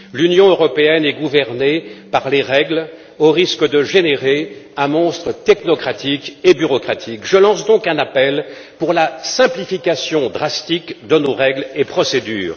L'Union européenne est gouvernée par les règles, au risque de générer un monstre technocratique et bureaucratique. Je lance donc un appel pour la simplification drastique de nos règles et procédures.